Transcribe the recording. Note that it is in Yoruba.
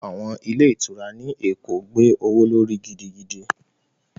Àwọn ilé ìtura ní Èkó gbówó lórí gidigidi